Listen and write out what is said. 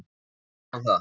Segir hann það?